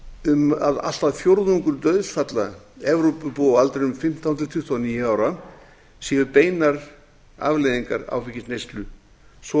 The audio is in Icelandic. um að allt að fjórðungur dauðsfalla evrópubúa á aldrinum fimmtán til tuttugu og níu ára séu beinar afleiðingar áfengisneyslu svo